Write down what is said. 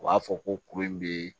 U b'a fɔ ko kuru in bɛ